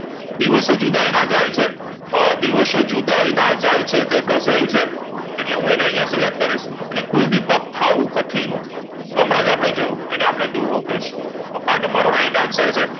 દિવસો જુદાઈ ના જાય છે અ દિવસો જુદાઈ ના જાય છે એટલે ગઝલ છે એટલે અને હું અહીંયા select કરીશ કુલદીપક થાવું કઠિન તો હમણાં જ અપડે જોયુ અને આપડે દુહો કયીશું તો આ તમારો right answer છે